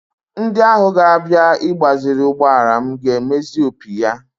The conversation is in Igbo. Ndị ahụ ga-abịa igbaziri ụgbọala m ga-emezi opi ya